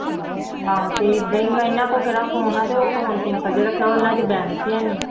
ਆਹੋ ਤੇ ਏਦਾਂ ਹੀ, ਇਹਨਾਂ ਕੋਲ ਕਿਹੜਾਂ ਫ਼ੋਨ ਆ ਤੇ ਉਹ ਫ਼ੋਨ simple ਜਿਹਾ ਰੱਖਿਆ ਉਹਨਾਂ ਚ balance ਹੀ ਹੈਨੀ